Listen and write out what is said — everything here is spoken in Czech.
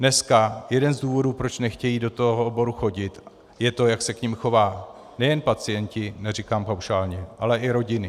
Dneska jeden z důvodů, proč nechtějí do toho oboru chodit, je to, jak se k nim chovají nejen pacienti, neříkám paušálně, ale i rodiny.